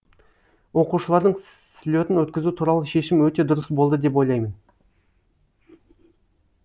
оқушылардың слетын өткізу туралы шешім өте дұрыс болды деп ойлаймын